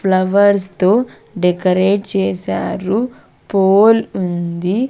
Flowers తో decorate చేసారు pole ఉంది.